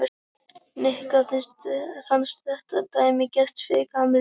Nikka fannst þetta dæmigert fyrir Kamillu.